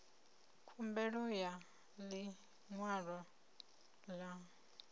khumbelo ya ḽi ṅwalo ḽa